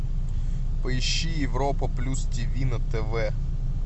поищи европа плюс тиви на тв